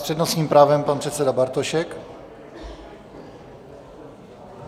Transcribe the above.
S přednostním právem pan předseda Bartošek.